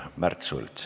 Märt Sults.